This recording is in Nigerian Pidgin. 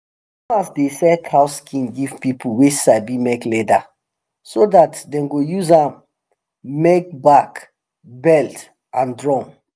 farmers dey sell cow skin give people wey sabi make leather so dat dem go use am make bag belt and drum